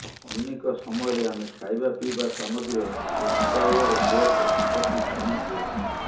ଅନେକ ସମୟରେ ଆମେ ଖାଇବା ପିଇବା ସାମଗ୍ରୀର ଏକ୍ସପାୟରୀ ଡେଟ ପ୍ରତି ଧ୍ୟାନ ଦେଉ